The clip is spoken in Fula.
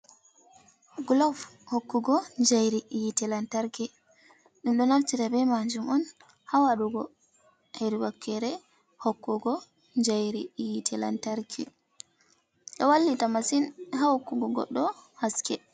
Glov hokkugo jayri yitre lantarki, ɗum ɗo naftira be majum on ha waɗugo her wakere hokkugo jayri yitte lantarki, ɗo wallita massin ha hokkugo goɗɗo haske.